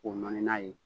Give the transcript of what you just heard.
K'o nɔni n'a ye